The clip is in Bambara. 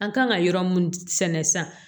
An kan ka yɔrɔ mun sɛnɛ sisan